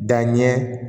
Danɲɛ